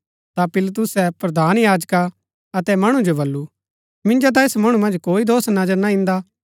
ता पिलातुसै प्रधान याजका अतै मणु जो बल्लू मिन्जो ता ऐस मणु मन्ज कोई दोष नजर ना ईन्दा